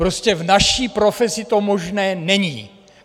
Prostě v naší profesi to možné není.